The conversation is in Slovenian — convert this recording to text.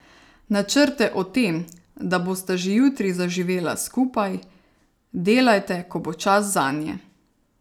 Načrte o tem, da bosta že jutri zaživela skupaj, delajte, ko bo čas zanje!